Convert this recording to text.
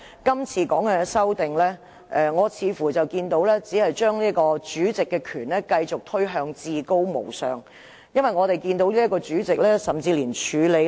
今次修訂《議事規則》，似乎是將主席的權力繼續推向至高無上，因為我們這位主席甚至連處理......